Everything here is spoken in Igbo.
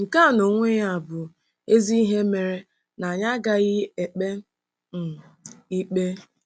Nke a n'onwe ya bụ ezi ihe mere na anyị agaghị ekpe um ikpe.